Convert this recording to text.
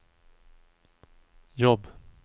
jobb